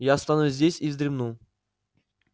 я останусь здесь и вздремну